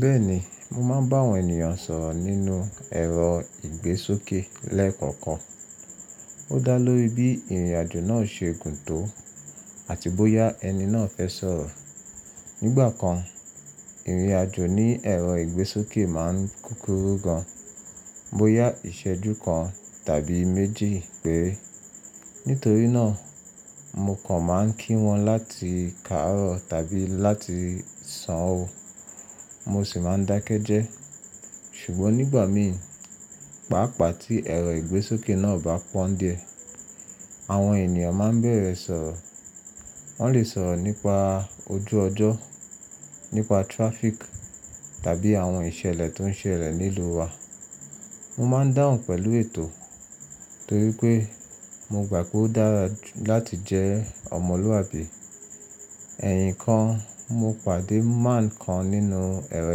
Bẹ́ẹ̀ni, mo máa ń bá àwọn ènìyàn sọ̀rọ̀ nínúu ẹ̀rọ ìgbésókè lẹ́ẹ̀kọ̀kan. Ó dá lórí bí ìrìnàjò náà ṣe gùn tó àti bóyá ẹni náà fẹ́ sọ̀rọ̀. Nígbà kan, ìrìnàjò ní ẹ̀rọ ìgbésókè máa ń kúkúrú gan, bóyá ìṣẹ́jú kan tàbí méjì péré. Nítorí náà, mo kàn máa ń kí wọn láti kaàró tàbí láti sàán wo, mo sì máa ń dákẹ́ jẹ́. Ṣùgbọ́n nígbà mi, pàápàá tí ẹ̀rọ ìgbésókè náà ò bá pọ́ ń díẹ̀, àwọn ènìyàn máa bẹ̀rẹ̀ sọ̀rọ̀. Wọ́n lè sọ̀rọ̀ nípa ojú ọjọ́, nípa traffic tàbí àwọn ìṣẹ̀lẹ̀ tó ń ṣẹlẹ̀ nílùú wa. Mo máa ń dáhùn pẹ̀lú ètò torí pé mo gbà pé ó dára láti jẹ́ ọmọlúwàbí. Ẹ̀yìn kan mo pàdé man kan nínú ẹ̀rọ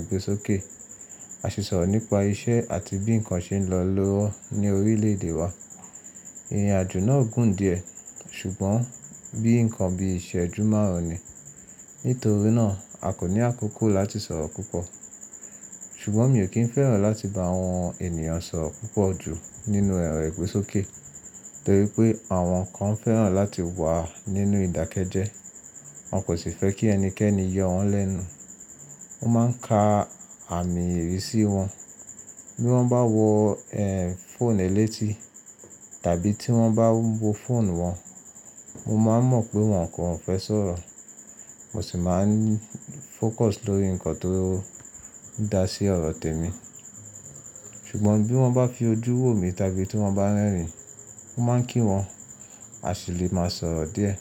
ìgbésókè, a sì sọ̀rọ̀ nípa iṣẹ́ àti bí ǹkan ṣe ń lọ lọ́wọ́ ní orílẹ̀-èdè wa. Ìrìnàjò náà gùn díẹ̀ ṣùgbọ́n bí ǹkan bí ìṣẹ́jú márùn-ún ni, nítorí náà a kò ní àkókò láti sọ̀rọ̀ púpọ̀. Ṣùgbọ́n mi ò kí ń fẹ́ràn láti bá àwọn ènìyàn sọ̀rọ̀ púpọ̀ jù nínú ẹ̀rọ ìgbésókè torí pé àwọn kan fẹ́ràn láti wà nínú ìdákẹ́jẹ́, wọn kò sì fẹ́ kí ẹnikẹ́ni yọ wọ́n lẹ́nu. Wọ́n máa ń ka àmì ìrísí wọn. Bí wọ́n bá wo, ehn, fóònù ẹlẹ́tí tàbí tí wọ́n bá wo fóònù wọn, mo máa ń mọ̀ pé wọn kò fẹ́ sọ̀rọ̀, mo sì máa ń fókọ̀s lórí ǹkan tó dá sí ọ̀rọ̀ tèmi. Ṣùgbọ́n bí wọ́n bá fi ojú wò mi tàbí tí wọ́n bá rẹ́rìn-ín, mo máa ń kí wọn a sì lè máa sọ̀rọ̀ díẹ̀.